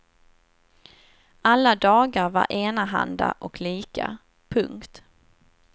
Alla dagar var enahanda och lika. punkt